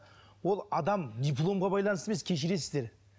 ол адам диломға байланысты емес кешіресіздер